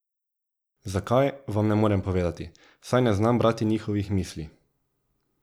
Zakaj, vam ne morem povedati, saj ne znam brati njihovih misli.